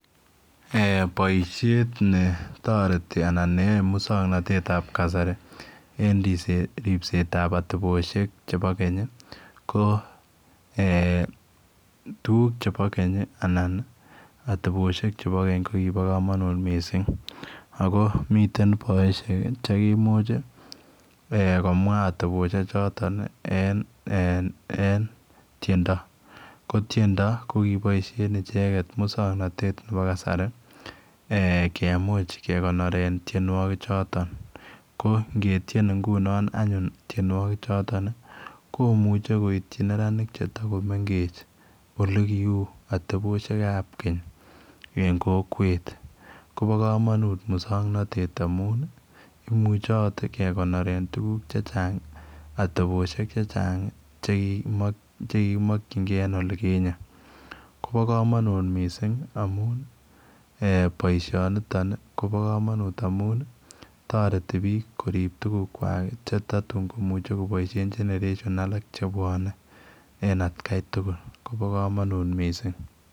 Eh boishet netoreti anan neyoe muswoknotet tab kasari en ripset ripsetab oteposhek chebo keny ko eh tukuk chebo keny anan oteboshek chebo keny ko kibo komonut missing ako miten boishet kii chekimuch chii eh komwa oteboshek. Choton nii en en eh en tyendo. Ko tyendo ko kiboishen icheket muswoknotet nebo kasari eh kemuche kekonoren tyenwokik choton ko ngetyen ingunon tyenuokik choton nii komuche koityi neranik chetokomengech ole kiu oteboshek ab keny en kokwet Kobo komonut muswoknotet amun nii imuche ot kekonoren tukuk chechang oteboshek chechang chekimo chekikimokingee en olikinye Kobo komonut missing amun boishoniton Kobo komonut amun toreti bik korib tukukwak chetotun komuche koboishen [ca]generations alak chebwone en atgai tukuk Kobo komonut missing.